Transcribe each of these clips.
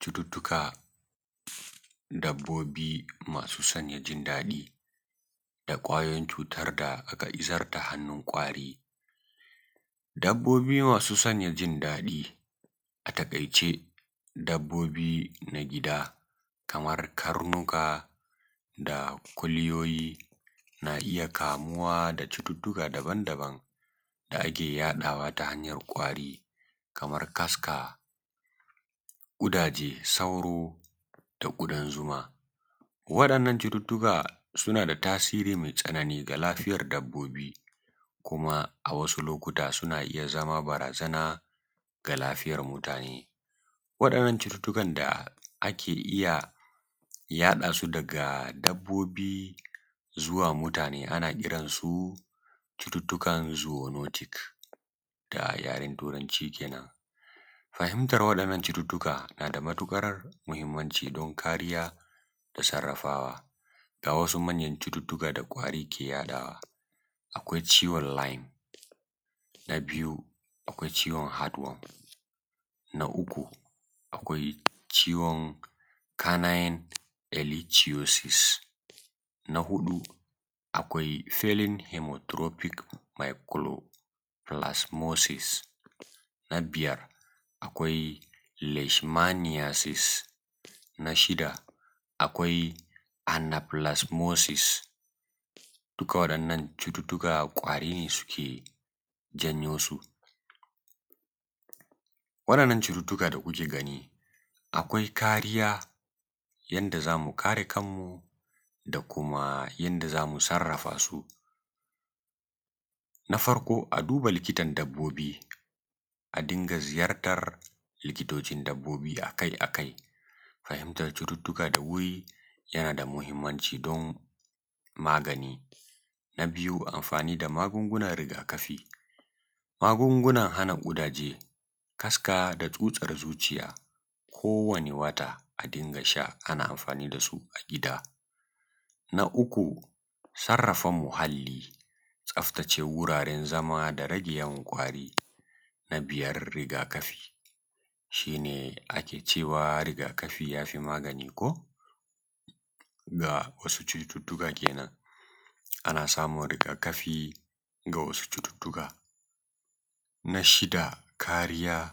Cututtukar Dabbobi masu sanya jin daɗi, da kwayoyin cutar da kwari, dabbobi masu sanya jin dadi a taƙaice, dabbobi na gida kamar karnuka da kuliyoyi na iya kamuwa da cututtuka daban-daban da ake yaɗawa ta hanyar ƙwari kamar kaska, ƙudaje, sauro, da ƙudan zuma. Waɗannan cututtuka suna da tasiri mai tsanani ga lafiyar dabbobi, kuma a wasu lokuta suna iya zama barazana ga lafiyar mutane. Waɗannan cututtukan da ake iya yaɗa su daga dabbobi zuwa mutane a na kiransu cututtukan zonotik da yaren turanci kenan. Fahimtar waɗannan cututtuka na da matuƙar muhimmanci don kariya da sarrafawa. Ga wasu muhimman cututtuka da ƙwari ke yaɗawa: akwai Ciwon Laym Na biyu Ciwon Had Wom: Na uku Ciwon Kanayn Legisiyosis: Na huɗu Felin Hemotirophic Meacuro Filasmosis: Na biyar Leshmasiyasis: Na shida Anafilasmosis: duka waɗan nan cututtuka kwarine suke janyosu waɗan nan cututtuka da kuke gani a kariya yanda zamu kare kanmu da kuma yadda zamu sarrafasu na farko a duba likitan dabbobi a A dinga ziyartar likita-n-dabbobi akai-akai. Fahimtar cuta da wuri yana da muhimmanci don magani. Na biyu Anfani da magungunan rigakafi: A dinga anfani da magungunan hana ƙudaje, kaska, da tsutsar zuciya kowane wata. Na uku Sarrafan muhalli: Tsaftace wuraren zaman dabbobi da rage yawan ƙwari. Na huɗu Rigakafi: A kecewa rigakafi yafi magani. Akwai rigakafi ga wasu cututtuka. Na biyar Kariya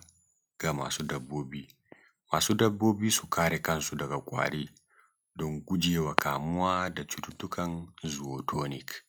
ga masu dabbobi: Masu dabbobi su kare kansu daga ƙwari don gujewa kamuwa da cututtukan zonotik. A taƙaice, fahimtar hanyoyin yaɗuwa da kariyar waɗannan cututtuka yana da muhimmanci don lafiyar dabbobi da mutane.